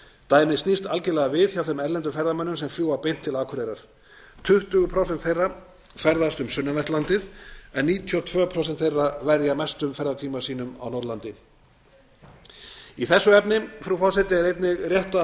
dæmið snýst algerlega við hjá þeim erlendu ferðamönnum sem fljúga beint til akureyrar tuttugu prósent þeirra ferðast um sunnanvert landið en níutíu og tvö prósent þeirra verja mestum ferðatíma sínum á norðurlandi í þessu efni frú forseti er einnig rétt að